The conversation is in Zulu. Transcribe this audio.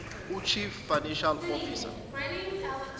uchief financial officer